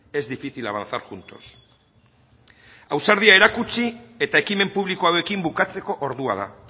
es difícil avanzar juntos ausardia erakutsi eta ekimen publiko hauekin bukatzeko ordua da